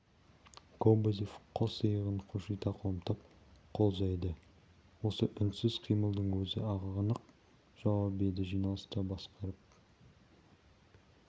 кобозев қос иығын қушита қомдап қол жайды осы үнсіз қимылдың өзі-ақ анық жауап еді жиналысты басқарып